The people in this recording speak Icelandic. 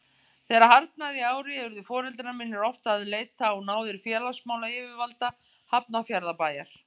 Þegar harðnaði í ári urðu foreldrar mínir oft að leita á náðir félagsmálayfirvalda Hafnarfjarðarbæjar.